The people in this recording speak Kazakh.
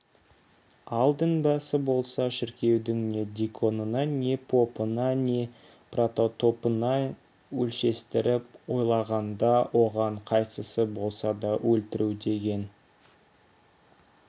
ал дінбасы болса шіркеудің не диконына не попына не протопопына өлшестіріп ойлағанда оған қайсысын болса да өлтіру деген